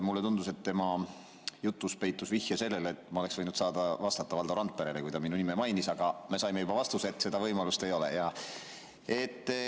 Mulle tundus, et tema jutus peitus vihje sellele, et ma oleks võinud saada vastata Valdo Randperele, kui ta minu nime mainis, aga me saime juba vastuse, et seda võimalust ei ole.